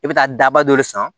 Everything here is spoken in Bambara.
I bɛ taa daba dɔ de san